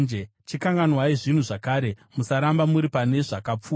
“Chikanganwai zvinhu zvakare; musaramba muri pane zvakapfuura.